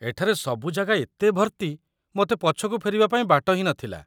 ଏଠାରେ ସବୁ ଜାଗା ଏତେ ଭର୍ତ୍ତି, ମୋତେ ପଛକୁ ଫେରିବାପାଇଁ ବାଟ ହିଁ ନଥିଲା